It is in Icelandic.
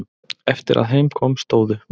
Eftir að heim kom stóðu